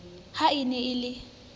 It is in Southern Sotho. ha e ne e le